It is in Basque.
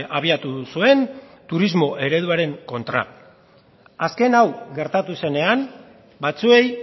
abiatu zuen turismo ereduaren kontra azken hau gertatu zenean batzuei